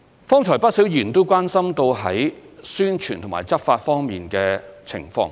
剛才有不少議員關心宣傳和執法方面的情況。